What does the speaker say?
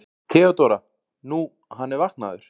THEODÓRA: Nú, hann er vaknaður.